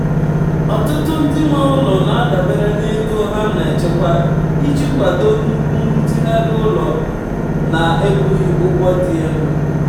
ọtụtụ ndị nwe ụlọ na-adabere na ego ha na-echekwa iji kwado nnukwu nrụzigharị ụlọ na-ebughị ụgwọ dị elu.